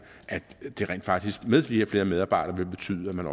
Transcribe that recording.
at det rent faktisk med flere og flere medarbejdere vil betyde at man